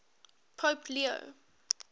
pope leo